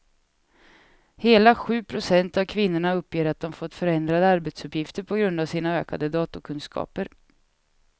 Hela sju procent av kvinnorna uppger att de fått förändrade arbetsuppgifter på grund av sina ökade datorkunskaper.